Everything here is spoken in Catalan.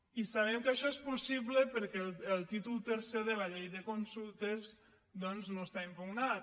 i sabem que això és possible perquè el títol tercer de la llei de consultes doncs no està impugnat